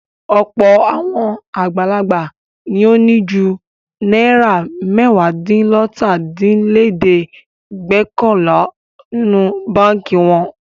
Ọ̀pọ̀ àwọn àgbàlagbà ni ó ní ju náírà mẹ́wàádínlọ́tàdínlẹ́ẹ̀dẹ́gbẹ̀ọkànlá nínú báńkì wọn.